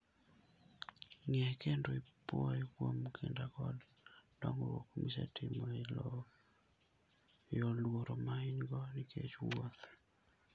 Ng'e kendo ipwoye kuom kinda koda dongruok misetimo e loyo luoro ma in-go nikech wuoth.